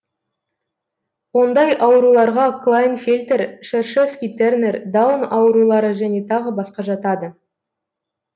ондай ауруларға клайнфельтер шершевский тернер даун аурулары және тағы басқа жатады